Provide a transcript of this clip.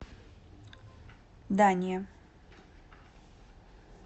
дания